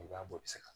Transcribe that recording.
Gɛlɛya b'o segi kan